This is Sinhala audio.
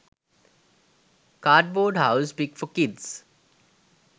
cardboard house pic for kids